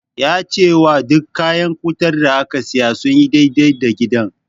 Yana cewa duk kayan wutar da aka siya sun yi dai-dai da gidan.